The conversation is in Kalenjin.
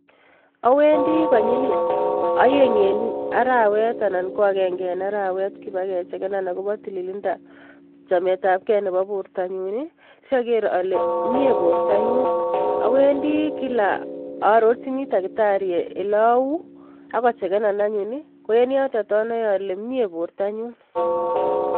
Awendi konyil oeng en arawet anan ko agenge en arawet koba kechekeno akobo tililindab chametabkei nebo bortanyun sager ale mie bortanyun. Awendi kila a arorchini takitari ole au ak kochekenon anyun, en yotet anae ale mie bortanyu.